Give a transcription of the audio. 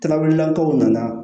Kalabilakaw nana